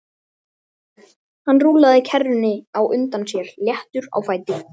Hann rúllaði kerrunni á undan sér léttur á fæti.